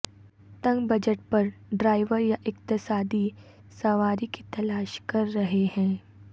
تنگ بجٹ پر ڈرائیور یا اقتصادی سواری کی تلاش کر رہے ہیں